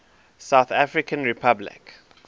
south african republic